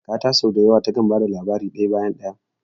Kakata sau da yawa takan ba da labari daya bayan daya.